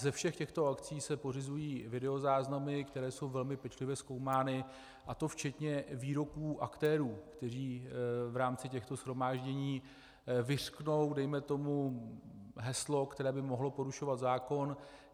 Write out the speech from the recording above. Ze všech těchto akcí se pořizují videozáznamy, které jsou velmi pečlivě zkoumány, a to včetně výroků aktérů, kteří v rámci těchto shromáždění vyřknou dejme tomu heslo, které by mohlo porušovat zákon.